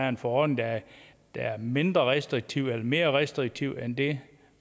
en forordning der er mindre restriktiv eller mere restriktiv end det